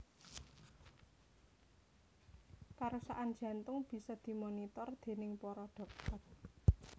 Kerusakan jantung bisa dimonitor déning para dhokter